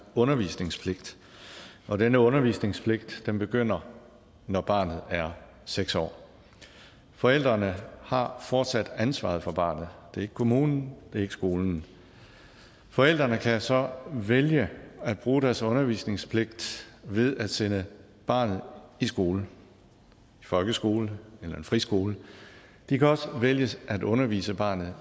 undervisningspligt og denne undervisningspligt begynder når barnet er seks år forældrene har fortsat ansvaret for barnet det er ikke kommunen det er ikke skolen forældrene kan så vælge at bruge deres undervisningspligt ved at sende barnet i skole en folkeskole eller en friskole de kan vælge selv at undervise barnet